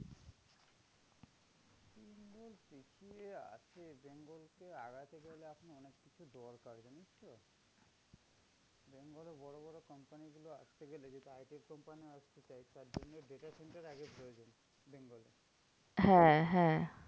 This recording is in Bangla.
হ্যাঁ হ্যাঁ